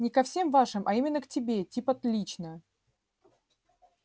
не ко всем вашим а именно к тебе типа лично